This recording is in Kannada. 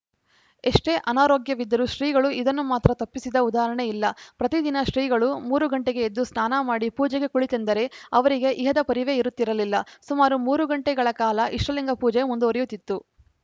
ಎಷ್ಟೇ ಅನಾರೋಗ್ಯವಿದ್ದರೂ ಶ್ರೀಗಳು ಇದನ್ನು ಮಾತ್ರ ತಪ್ಪಿಸಿದ ಉದಾಹರಣೆಯಿಲ್ಲ ಪ್ರತಿದಿನ ಶ್ರೀಗಳು ಮೂರು ಗಂಟೆಗೆ ಎದ್ದು ಸ್ನಾನ ಮಾಡಿ ಪೂಜೆಗೆ ಕುಳಿತರೆಂದರೆ ಅವರಿಗೆ ಇಹದ ಪರಿವೆಯೇ ಇರುತ್ತಿರಲಿಲ್ಲ ಸುಮಾರು ಮೂರು ಗಂಟೆಗಳ ಕಾಲ ಇಷ್ಟಲಿಂಗ ಪೂಜೆ ಮುಂದುವರಿಯುತ್ತಿತ್ತು